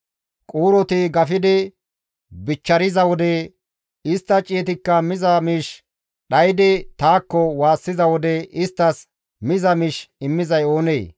Quuroti gafidi bichchariza wode istta ciyetikka miza miish dhaydi taakko waassiza wode isttas miza miish immizay oonee?